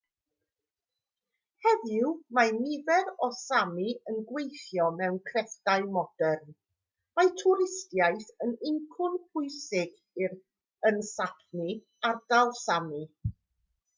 heddiw mae nifer o sámi yn gweithio mewn crefftau modern mae twristiaeth yn incwm pwysig yn sápmi ardal sámi